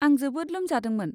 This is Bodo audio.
आं जोबोद लोमजादोंमोन।